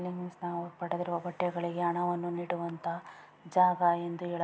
ವ್ಯವಸ್ಥೆ ಇರುತ್ತೆ ಇಲ್ಲಿ ಮೀನ್ಸ್ ಪಡೆದಿರೋ ಬಟ್ಟೆಗಳಿಗೆ ಹಣವನ್ನು ನೀಡುವಂತಹ ಜಾಗ ಎಂದು ಹೇಳ --